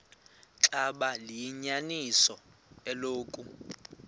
xaba liyinyaniso eloku